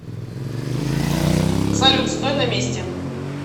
салют стой на месте